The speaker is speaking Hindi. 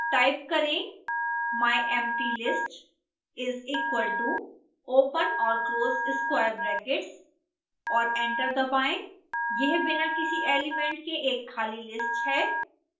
टाइप करें myemptylist is equal to open और close square brackets और एंटर दबाएं यह बिना किसी एलिमेंट के एक खाली list है